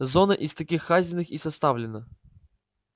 зона из таких хазиных и составлена